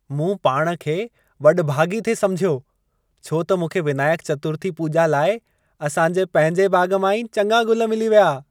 मूं पाण खे वॾभाॻी थे समुझियो छो त मूंखे विनायक चतुर्थी पूॼा लाइ असां जे पंहिंजे बाग़ मां ई चङा गुल मिली विया।